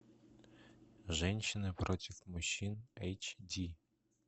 женщины против мужчин эйч ди